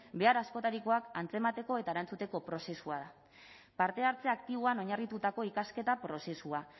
behar askotarikoak antzemateko eta erantzuteko prozesua da parte hartze aktiboan oinarritutako ikasketa prozesua